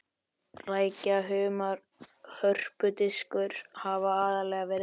Rækja, humar og hörpudiskur hafa aðallega verið fryst.